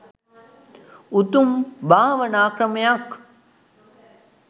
උතුම් භාවනා ක්‍රමයක්.